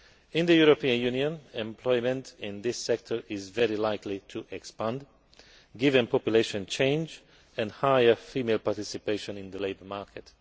In the European Union, employment in this sector is very likely to expand, given population change and higher female participation in the labour market.